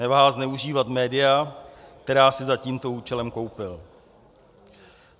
Neváhal zneužívat média, která si za tímto účelem koupil.